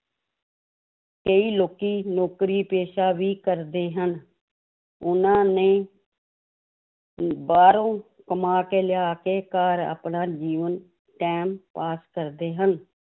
ਕਈ ਲੋਕੀ ਨੌਕਰੀ ਪੇਸ਼ਾ ਵੀ ਕਰਦੇ ਹਨ ਉਹਨਾਂ ਨੇ ਅਮ ਬਾਹਰੋਂ ਕਮਾ ਕੇ ਲਿਆ ਕੇ ਘਰ ਆਪਣਾ ਜੀਵਨ time pass ਕਰਦੇ ਹਨ